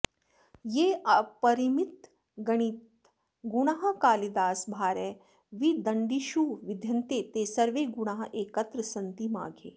ये अपरिमितागणितगुणाः कालिदासभारविदण्डिषु विद्यन्ते ते सर्वे गुणाः एकत्र सन्ति माघे